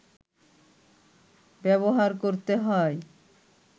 ব্যবহার করতে হয়